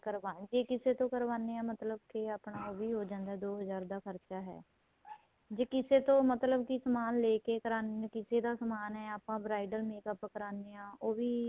ਕਾਰਨਾਵੇ ਜੇ ਕਿਸੇ ਤੋ ਕਾਰਨਾਵੇ ਮਤਲਬ ਕੇ ਆਪਣਾ ਉਹ ਵੀ ਹੋ ਜਾਂਦਾ ਦੋ ਹਜ਼ਾਰ ਦਾ ਖਰਚਾ ਏ ਜੇ ਕਿਸੇ ਤੋ ਮਤਲਬ ਕੀ ਸਮਾਨ ਲੈਕੇ ਕਰਾਣੇ ਹਾਂ ਕਿਸੇ ਦਾ ਸਮਾਨ ਆਪਾਂ bridal makeup ਕਰਾਨੇ ਆ ਉਹ ਵੀ